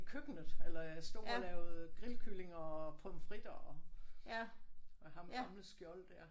I køkkenet eller jeg stod og lavede grillkyllinger og pomfritter og ham gamle Skjold dér